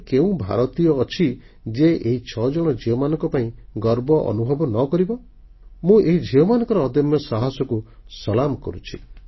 ଏଭଳି କେଉଁ ଭାରତୀୟ ଅଛି ଯିଏ ଏହି 6 ଜଣ ଝିଅଙ୍କ ପାଇଁ ଗର୍ବ ଅନୁଭବ ନ କରିବ ମୁଁ ଏହି ଝିଅମାନଙ୍କର ଅଦମ୍ୟ ସାହସକୁ ସଲାମ କରୁଛି